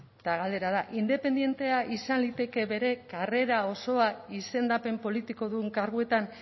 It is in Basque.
eta galdera da independentea izan liteke bere karrera osoa izendapen politikodun karguetan